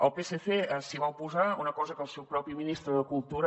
el psc s’hi va oposar una cosa que el seu propi ministre de cultura